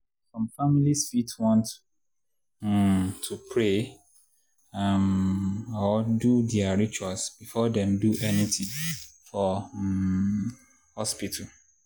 some families fit want um to pray um or do their rituals before dem do anything for um hospital.